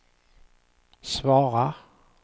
svara